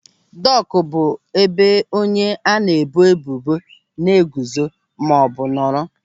Dọk bụ ebe onye a na-eboebubo na-eguzo maọbụ nọrọ.